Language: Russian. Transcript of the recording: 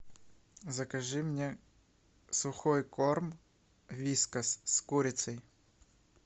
закажи мне сухой корм вискас с курицей